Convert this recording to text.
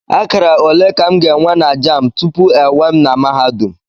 Akara ole ka m ga-enwe na Jamb tupu ewee m na mahadum?